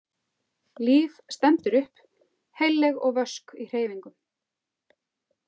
Líf stendur upp, heilleg og vösk í hreyfingum.